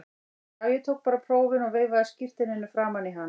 Já, ég tók bara prófin og veifaði skírteininu framan í hann.